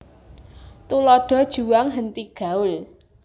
Tuladha juang henti gaul